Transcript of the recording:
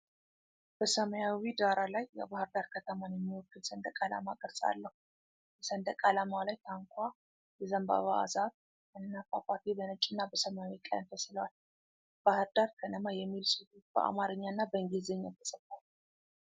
በ ሰማያዊ ዳራ ላይ የባህር ዳር ከተማን የሚወክል ሰንደቅ ዓላማ ቅርጽ አለው፡፡ በሰንደቅ ዓላማው ላይ ታንኳ፣ የዘንባባ ዛፍ እና ፏፏቴ በነጭና በሰማያዊ ቀለም ተስለዋል፡፡ "ባሕር ዳር ከነማ" የሚል ጽሑፍ በአማርኛና በእንግሊዝኛ ተጽፏል፡፡